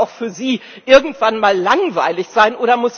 Das muss doch auch für Sie irgendwann mal langweilig sein!